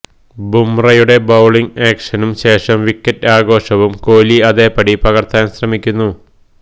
ബുംറയുടെ bowling ആക്ഷനും ശേഷം wicket ആഘോഷവും കോലി അതേപടി പകര്ത്താന് ശ്രമിക്കുന്നു